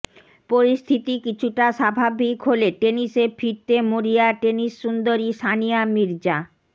পরিস্থিতি কিছুটা স্বাভাবিক হলে টেনিসে ফিরতে মরিয়া টেনিস সুন্দরী সানিয়া মির্জা